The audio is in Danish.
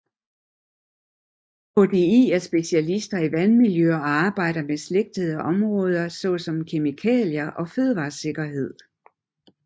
DHI er specialister i vandmiljø og arbejder med beslægtede områder såsom kemikalier og fødevaresikkerhed